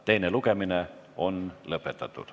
Teine lugemine on lõpetatud.